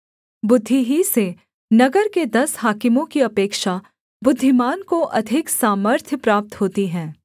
बुद्धि ही से नगर के दस हाकिमों की अपेक्षा बुद्धिमान को अधिक सामर्थ्य प्राप्त होती है